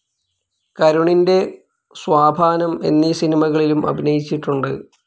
കരുണിൻ്റെ സ്വാപാനം എന്നീ സിനിമകളിലും അഭിനയിച്ചിട്ടുണ്ട്.